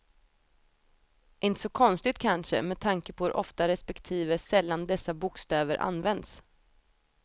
Inte så konstigt kanske med tanke på hur ofta respektive sällan dessa bokstäver används.